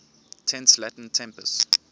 tense latin tempus